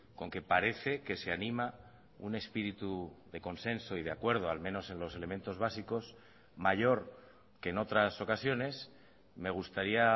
con que parece que se anima un espíritu de consenso y de acuerdo al menos en los elementos básicos mayor que en otras ocasiones me gustaría